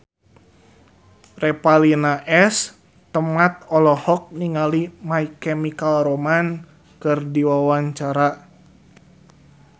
Revalina S. Temat olohok ningali My Chemical Romance keur diwawancara